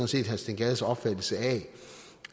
set herre steen gades opfattelse af